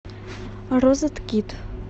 розеткид